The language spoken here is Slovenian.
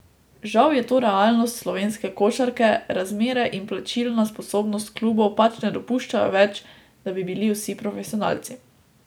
Žal je to realnost slovenske košarke, razmere in plačilna sposobnost klubov pač ne dopuščajo več, da bi bili vsi profesionalci.